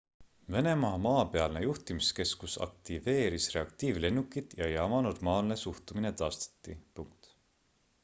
venemaa maapealne juhtimiskeskus aktiveeris reaktiivlennukid ja jaama normaalne suhtumine taastati